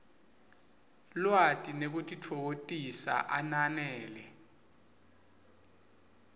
lwati nekutitfokotisa ananele